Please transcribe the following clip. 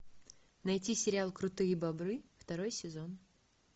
найти сериал крутые бобры второй сезон